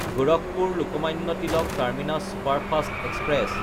গোৰখপুৰ–লোকমান্য Tilak terminus superfast express